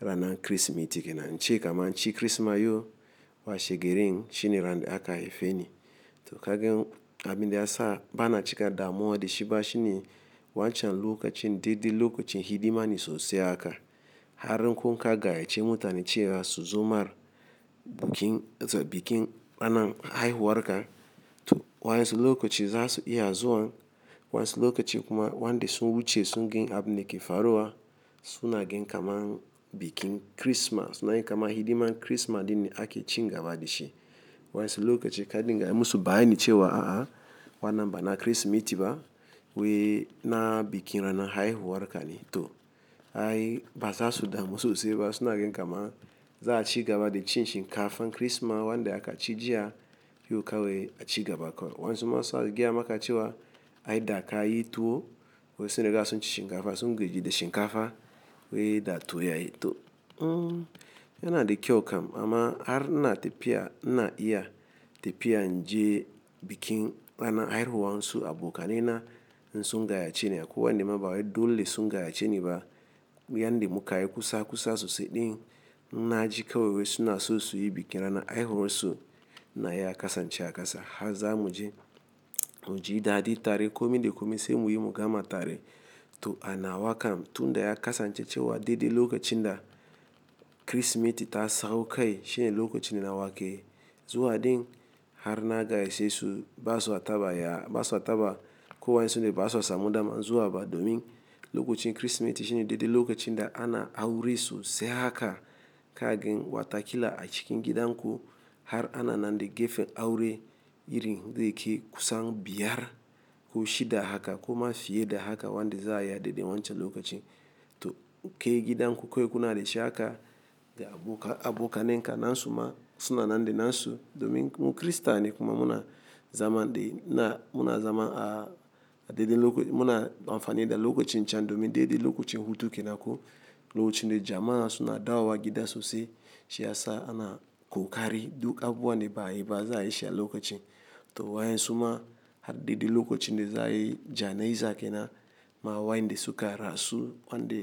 ranan Kirsimeti ke nan. Ce kaman shi Kirsimati yau washe garin shine ran da aka haife ni. To ka gan abin da ya sa bana cika damuwa da shi ba shine wancan lokacin daidai lokacin hidima ne sosai haka. Har kun ka gayyace mutane cewa su zo mar bikin ranan haihuwar ka. To wayansu lokaci za su iya zuwan wayansu lokacin kuma wanda su wuce sun gan abin da ke faruwa suna gan kaman bikin Kirsimati. Na yi kama hidiman Kirsimati din ne ake cin gaba da shi. Wayansu lokacin ka dinga yi musu bayani cewa a'a, wannan bana Kirsimeti ba we na bikin ranan haihuwar ka ne. To ai ba za su damu sosai ba suna gan kaman za a ci gaba da cin shinkafan Kirsimati wanda aka ci jiya yau kawai a ci gaba kawai. Wayansu ma suna gayamaka cewa ai da ka yi tuwo wai sun riga sun ci shinkafa sun gaji da shinkafa wai da tuwo yayi. To, hmmm yana da kyau kam amma har ina tafiya na iya tafiya in je bikin rana haihuwan su abokanena in sun gayyace ni. Ko wanda ma ba dole sun gayyace ni ba. Yan de muka yi kusa kusa sosai din na ji kawai wai suna so suyi bikin ranan haihuwan su ina ya kasance a kasa. Har za mu je muji daɗi tare, komi da komi sai muyi mu gama tare. To a nawa kam tunda ya kasance cewa daidai lokacin da Kirsimeti ta sau kai shine lokacin da nawa keyi. Zuwa din har na gayyace su ba sua taba ya, ba sua taba ko wayansu ne ba sua samu dama zuwa ba domin lokacin Kirsimeti shine daidai lokacin da ana aure sosai haka ka gan wata kila a cikin gidan ku har ana nan de gefen aure irin zai kai kusan biyar ko shida haka ko ma fiye da haka wanda za a yi a daidai wancan lokacin. To ke gidan ku ko kunada shi haka da abokanenka nasu ma suna nan de nan su domin kun mu Kirista ne kuma muna zaman de na muna zaman a daidai loko muna amfani da lokacin can domin daidai lokacin hutu ke nan ko lokacin da jama'a suna dawowa gida sosai. Shi ya sa ana kokari duk abubuwanda ba yi ba za a yi shi a lokacin. To wayansu ma har daidai lokacin de za yi jana'iza ke nan ma wanda su ka rasu wanda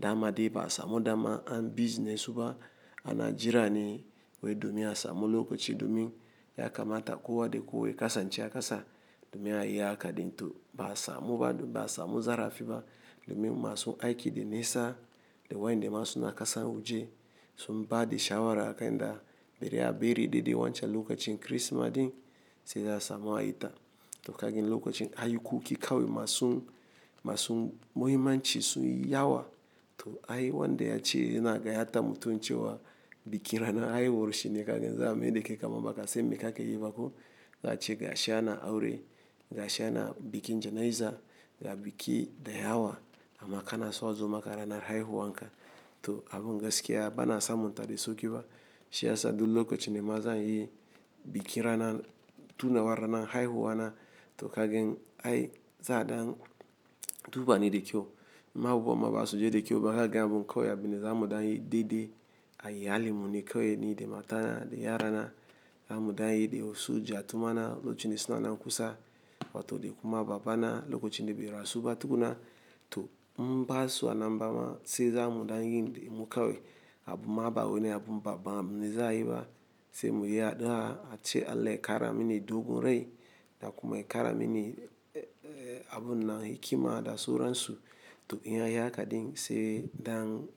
dama de ba a samu dama an bizne su ba ana jira ne wai domin a samu lokaci domin ya kamata kowa de kowa ya kasance a kasa domin a ya haka din. To ba a samu ba domin ba a samu zarafi ba domin masu aiki de nesa da wanda ma su na kasan waje sun ba da shawara akai da bari a bari daidai wancan lokacin Kirsimati din sai za a samu a yita. To ka gan lokacin ayi kuki kawai masu masu muhimmanci sun yi yawa. To ai wanda ya ce yana gayata mutum cewa bikin rana haihuwar shi ne ka gan za a maiɗe kai kaman baka san me kake yi ba ko za a ce ga shi ana aure ga shi ana bikin jana'iza ga biki da yawa amma kana so a zo maka ranar haihuwan ka. To abun gaskiya bana samun ta de sauki ba. Shi ya sa duk lokacin dama zan yi bikin rana tunawar ranan haihuwa na. To ka gan ai za dan duba ni da kyau ma abu ma ba su je da kyau ba ka gan abun ƙawai abin da za mu dan yi daidai a iyalin mu ne ƙawai ni de matana de yarana za mu dan yi de wasu jatumana lokacin de suna nan kusa wato de kuma babana lokacin de bai rasu ba tukuna. To inba sua nan bama sai za mu dan yin de mu ƙawai abu ma ba wane abu baban abunda za a yi ba sai muyi addu'a a ce Allah ya kara mini dogon rai da kuma ya kara mini eh abu nan hikima da sauransu. To in ya yi haka din sai dan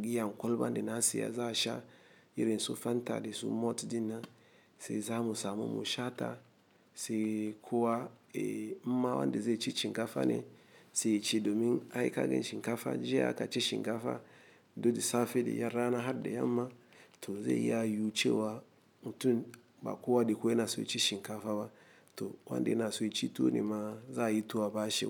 giyan ƙolban de na saya za a sha irin su fanta da su mot din nan sai za mu samu mu shata sai kowa eh inma wanda zai ci shinkafa ne sai ya ce domin ai ka gan shinkafa jiya aka ci shinkafa duk da safe de ya rana har de yamma to zai iya yiwu cewa mutum ba kowa de ku yana so ya ci shinkafa ba to wanda yana so ya ci tuwo ne ma za a yi tuwo a bashi.